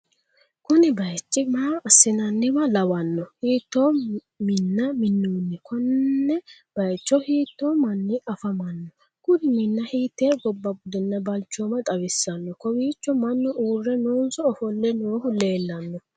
kuni bayichi maa assi'nanniwa lawanno? hiitto minna minnonni? konne bayicho hiitto manni afamanno? kuri minna hiitte gobba budenna balchooma xawissanno? kowiicho mannu uurre noonso ofolle noohu leellanno?